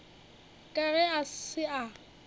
ka ge a se a